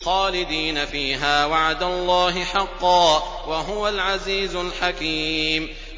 خَالِدِينَ فِيهَا ۖ وَعْدَ اللَّهِ حَقًّا ۚ وَهُوَ الْعَزِيزُ الْحَكِيمُ